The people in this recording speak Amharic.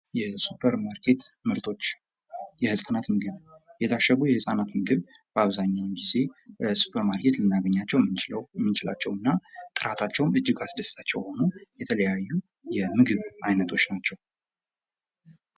የሱፐርማርኬት ምርቶች የህፃናት ምግብ የታሸጉ የህፃናት ምግብ በአብዛኛውን ጊዜ ሱፐርማርኬት ልናገኛቸው ምንችላቸውና ጥራታቸውም እጅግ አስደሳች የሆኑ የተለያዩ የምግብ አይነቶች ናቸው።